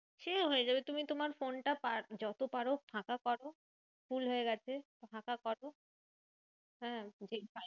সে হয়ে যাবে তুমি তোমার ফোনটা যত পারো ফাঁকা করো full হয়ে গেছে ফাঁকা করো। হ্যাঁ